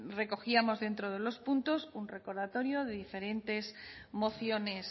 recogíamos dentro de los puntos un recordatorio de diferentes mociones